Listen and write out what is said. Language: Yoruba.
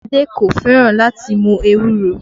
Adé kò fẹ́ràn láti mú ewúro